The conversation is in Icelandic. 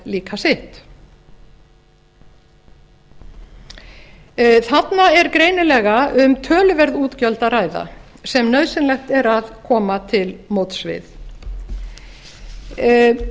líka sitt þarna er greinilega um töluverð útgjöld að ræða sem nauðsynlegt er að koma til móts við